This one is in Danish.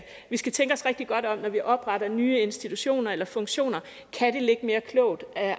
skal tænke os rigtig godt om når vi opretter nye institutioner eller funktioner kan det ligge mere klogt